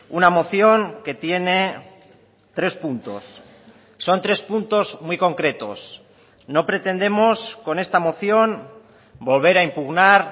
una moción que tiene tres puntos son tres puntos muy concretos no pretendemos con esta moción volver a impugnar